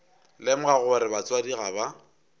lemoga gore batswadi ga ba